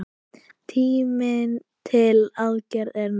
Tíminn til aðgerða er nú!